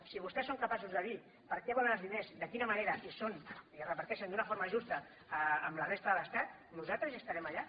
si vostès són capaços de dir per a què volen els diners de quina manera i es reparteixen d’una forma justa amb la resta de l’estat nosaltres estarem allà